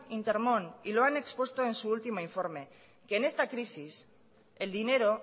intermón y lo han expuesto en su último informe que en esta crisis el dinero